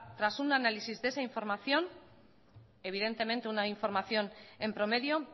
tras un análisis de esa información evidentemente una información en promedio